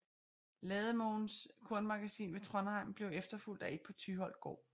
Lademoens kornmagasin ved Trondheim blev efterfulgt af et på Tyholt gård